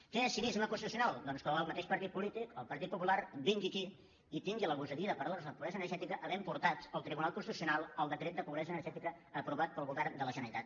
què és cinisme constitucional doncs que el mateix partit polític el partit popular vingui aquí i tingui la gosadia de parlarnos de pobresa energètica havent portat al tribunal constitucional el decret de pobresa energètica aprovat pel govern de la generalitat